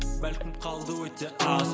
бәлкім қалды өте аз